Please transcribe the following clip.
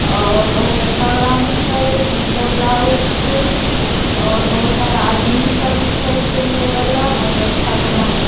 और बहुत अच्छा ग्राउंड छै सुंदर लागे छै और बहुत सारा आदमी सब भी छै खेले वला बहुत अच्छा ग्राउंड --